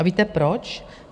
A víte proč?